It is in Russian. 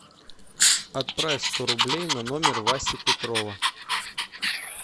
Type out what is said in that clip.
отправь сто рублей на номер васи петрова